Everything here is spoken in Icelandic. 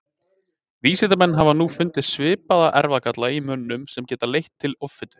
Vísindamenn hafa nú fundið svipaða erfðagalla í mönnum sem geta leitt til offitu.